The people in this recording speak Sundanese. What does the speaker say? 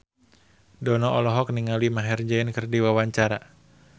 Dono olohok ningali Maher Zein keur diwawancara